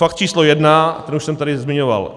Fakt číslo jedna, ten už jsem tady zmiňoval.